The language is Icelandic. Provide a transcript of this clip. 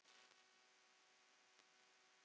Snemma kvölds dettur